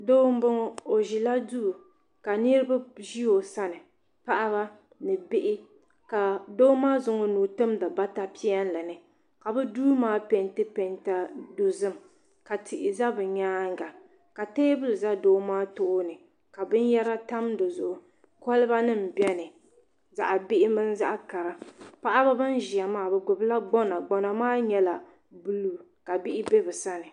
Doo m boŋɔ o ʒila duu ka niriba ʒi o sani paɣaba ni bihi ka doo maa zaŋdi o nuu n timdi bata piɛlli ni ka bɛ duu maa penti penta dozim ka tihi za bɛ nyaanga ka teebili za doo maa tooni ka binyera tam dizuɣu koliba nima biɛni zaɣa bihi mini zaɣa kara paɣaba bin ʒia maa bɛ gbibila gbana gbana maa nyɛla buluu ka bihi e bɛ sani.